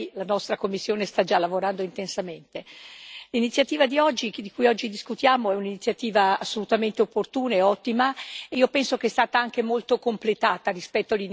L'iniziativa di cui oggi discutiamo è un'iniziativa assolutamente opportuna e ottima, e io penso che sia stata anche molto completata, rispetto all'iniziale proposta, dal prezioso lavoro del collega Zorrinho.